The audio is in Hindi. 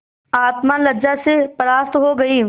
आत्मा लज्जा से परास्त हो गयी